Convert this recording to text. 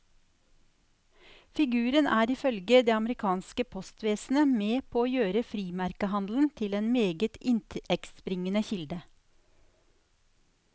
Figuren er ifølge det amerikanske postvesenet med på å gjøre frimerkehandelen til en meget inntektsbringende kilde.